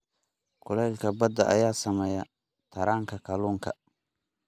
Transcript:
Kuleylka badda ayaa saameeya taranka kalluunka.